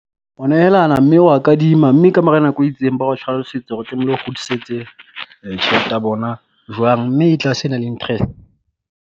Ho nehelana mme wa kadima mme kamora nako e itseng, ba o hlalosetsa hore tlamehile o kgutlisetse tjhelete ya bona jwang mme e tlase e na le